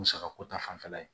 Musaka ko ta fanfɛla ye